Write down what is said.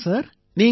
சொல்லுங்க சார்